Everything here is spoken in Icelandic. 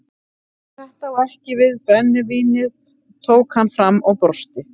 En þetta á ekki við brennivínið tók hann fram og brosti.